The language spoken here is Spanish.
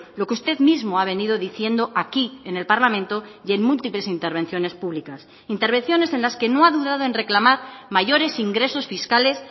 lo que usted mismo ha venido diciendo aquí en el parlamento y en múltiples intervenciones públicas intervenciones en las que no ha dudado en reclamar mayores ingresos fiscales